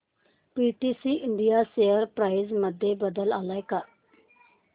PTC India share price मध्ये बदल आलाय का